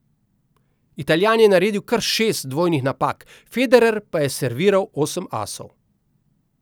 Italijan je naredil kar šest dvojnih napak, Federer pa je serviral osem asov.